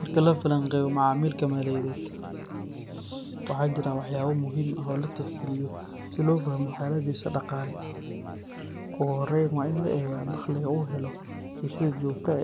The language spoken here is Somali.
Marka la falanqeeyo macamilka maaliyadeed, waxaa jira waxyaabo muhiim ah oo la tixgeliyo si loo fahmo xaaladdiisa dhaqaale. Ugu horreyn, waa in la eegaa dakhliga uu helo iyo sida joogtada